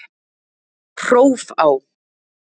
Hrófá